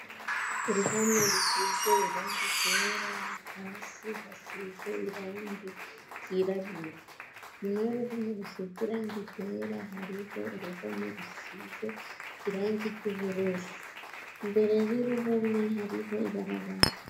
Uruhome rusize irange igera hasi hasize irangi ryirabura nyuma youruhome rusize irange igera hariho uruhome rusize irangi ry'ubururi mbere y'uruhome hariho ibarabara.